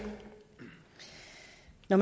når